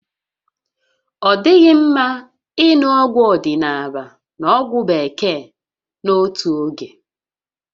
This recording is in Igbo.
Ọ dịghị mma ịṅụ ọgwụ odịnaala na ọgwụ Bekee n'otu oge